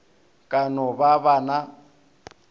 ka no ba ba na